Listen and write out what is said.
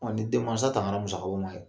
Ɔ ni den mansa tankara musakaw ma yen.